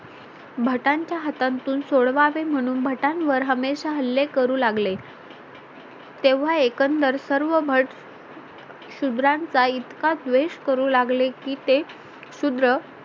भटांच्या हातांतून सोडवावें म्हणून भटांवर हमेशा हल्ले करू लागले तेव्हा एकंदर सर्व भट शुद्राचा चा इतका द्वेष करू लागले की ते शूद्र